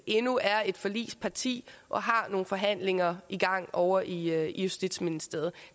endnu er et forligsparti og har nogle forhandlinger i gang ovre i justitsministeriet